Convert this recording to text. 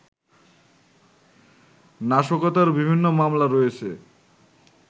নাশকতার বিভিন্ন মামলা রয়েছে